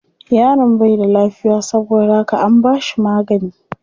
Yaron bai da lafiya saboda haka an bashi magani.